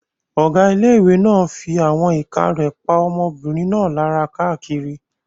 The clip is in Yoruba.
Ọ̀gá ilé-ìwé náà fí àwọn ìka rẹ̀ pa ọmọbìnrin náà lára káàkiri